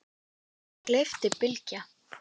andri, gleypti Bylgja.